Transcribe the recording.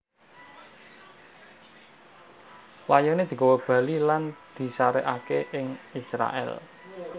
Layoné digawa bali lan disarèkaké ing Israèl